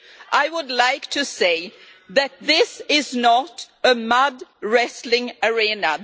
I would like to say that this is not a mud wrestling arena.